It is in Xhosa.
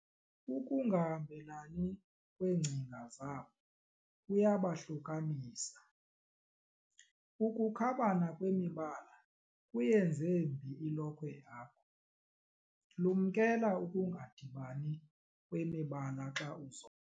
Ukungahambelani kweengcinga zabo kuyabahlukanisa. ukukhabana kwemibala kuyenze mbi ilokhwe yakho, lumkela ukungadibani kwemibala xa uzo